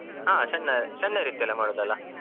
ಹಾ ಸಣ್ಣ ಸಣ್ಣ ರೀತಿಯಲ್ಲಿ ಮಾಡುದಲ್ಲ.